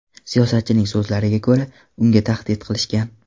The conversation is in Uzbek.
Siyosatchining so‘zlariga ko‘ra, unga tahdid qilishgan.